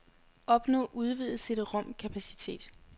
Opnå udvidet cd-rom kapacitet.